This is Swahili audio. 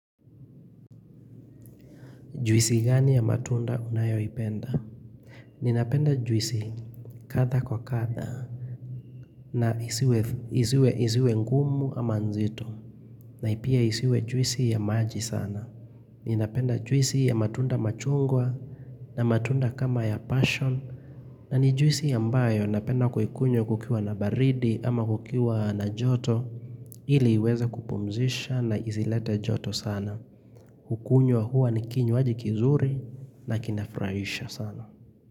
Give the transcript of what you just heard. Juisi gani ya matunda unayoipenda? Ninapenda juisi kadha kwa kadha na isiwe ngumu ama nzitu napia isiwe juisi ya maji sana. Ninapenda juisi ya matunda machungwa na matunda kama ya passion na ni juisi ambayo napenda kukunywa kukiwa na baridi ama kukiwa na joto iliiweze kupumzisha na isileta joto sana. Hukunywa huwa ni kinywaji kizuri na kinafurahisha sana.